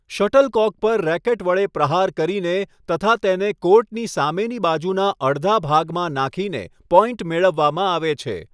Shuttlecock પર racket વડે પ્રહાર કરીને તથા તેને કોર્ટની સામેની બાજુના અડધા ભાગમાં નાંખીને પોઈન્ટ મેળવવામાં આવે છે.